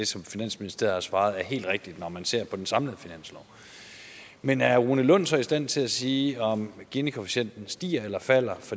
som finansministeriet har svaret er helt rigtigt når man ser på den samlede finanslov men er herre rune lund så i stand til at sige om ginikoefficienten stiger eller falder